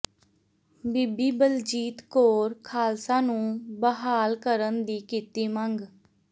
ਬੀਬੀ ਬਲਜੀਤ ਕੌਰ ਖਾਲਸਾ ਨੂੰ ਬਹਾਲ ਕਰਨ ਦੀ ਕੀਤੀ ਮੰਗ